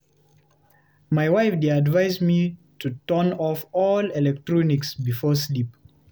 My wife dey advise me to turn off all electronics before sleep.